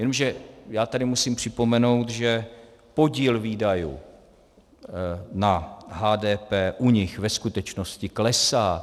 Jenomže já tady musím připomenout, že podíl výdajů na HDP u nich ve skutečnosti klesá.